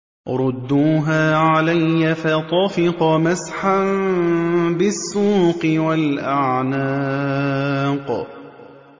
رُدُّوهَا عَلَيَّ ۖ فَطَفِقَ مَسْحًا بِالسُّوقِ وَالْأَعْنَاقِ